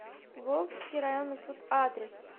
волжский районный суд адрес